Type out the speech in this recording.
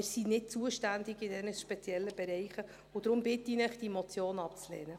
Aber wir sind in diesen speziellen Bereichen nicht zuständig, und deshalb bitte ich Sie, die Motion abzulehnen.